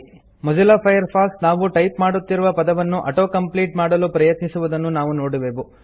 Mozilla Firefox ನಾವು type ಮಾಡುತ್ತಿರುವ ಪದವನ್ನು auto ಕಂಪ್ಲೀಟ್ ಮಾಡಲು ಪ್ರಯತ್ನಿಸುವುದನ್ನು ನಾವು ನೋಡುವೆವು